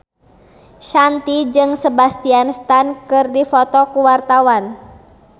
Shanti jeung Sebastian Stan keur dipoto ku wartawan